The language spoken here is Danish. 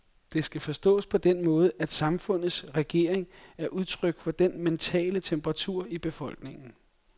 Det skal forstås på den måde, at samfundets regering er udtryk for den mentale temperatur i befolkningen.